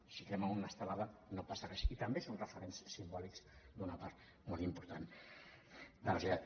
si crema una estelada no passa res i també són referents simbòlics d’una part molt important de la societat